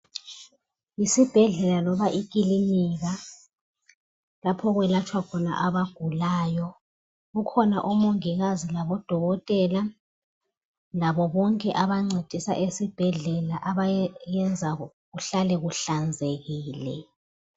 Esibhedlela loba ekilinika, lapho okwelatshwa khona abagulayo. Kukhona omongikazi labo dokotela, labo bonke abancedisa esibhedlela abayenza kuhlale kuhlanzekile.